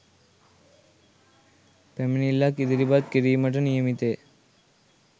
පැමිණිල්ලක් ඉදිරිපත් කිරීමට නියමිතය